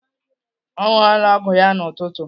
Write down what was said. Ọ ṅụọla ọgwụ ya n'ụtụtụ.